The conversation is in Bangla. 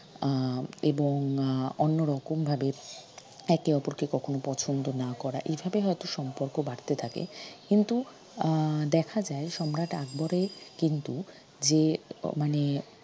আহ এবং আহ অন্যরকমভাবে একে অপরকে কখনো পছন্দ না করা এইভাবে হয়ত সম্পর্ক বাড়তে থাকে কিন্তু আহ দেখা যায় সম্রাট আকবরের কিন্তু যে আহ মানে